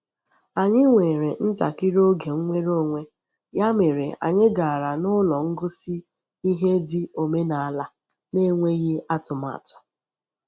Anyị nwere ntakịrị oge nnwere onwe, ya mere anyị gara n’ụlọ ngosi ihe dị omenaala n’enweghị atụmatụ